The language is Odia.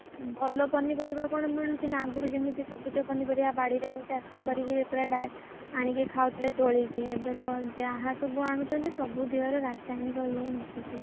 ଭଲ ପନିପରିବା କଣ ମିଳୁଛି ନା କଣ ଆଗରୁ ଯେମିତି ସବୁଜ ପନିପରିବା ବାଡିରେ ଚାଷ ଚାଷ କରିକି ଆଣିକି ଖାଉଥିଲେ ତୋଳିକି ଏବେ ତ ଯାହା ସବୁ ଅଣୁଛନ୍ତି ସବୁ ଦେହରେ ରାସାୟନିକ ଇଏ ମିଶୁଛି।